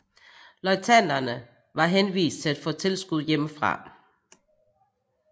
Løjtnanter var henvist til at få tilskud hjemmefra